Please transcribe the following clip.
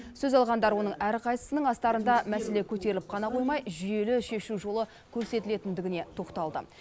сөз алғандар оның әрқайсысының астарында мәселе көтеріліп қана қоймай жүйелі шешу жолы көрсетілгендігіне тоқталды